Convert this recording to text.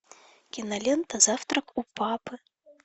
кинолента завтрак у папы